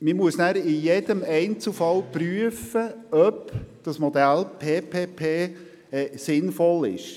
Es muss schliesslich bei jedem Einzelfall geprüft werde, ob das Modell PPP sinnvoll ist.